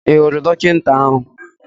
Ị hụrụ dọkịta ahụ?